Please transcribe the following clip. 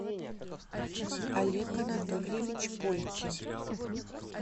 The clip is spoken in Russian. олег анатольевич полькин